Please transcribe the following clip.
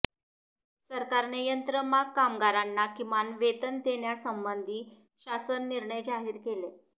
सरकारने यंत्रमाग कामगारांना किमान वेतन देण्यासंबंधी शासन निर्णय जाहीर केले